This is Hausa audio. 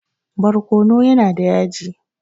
Barkono yana da yaji.